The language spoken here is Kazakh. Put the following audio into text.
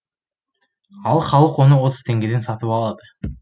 ал халық оны отыз теңгеден сатып алады